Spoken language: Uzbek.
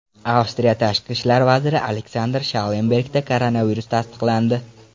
Avstriya tashqi ishlar vaziri Aleksandr Shallenbergda koronavirus tasdiqlandi.